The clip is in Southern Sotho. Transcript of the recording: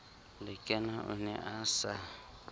lekena o ne a sa